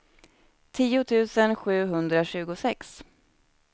tio tusen sjuhundratjugosex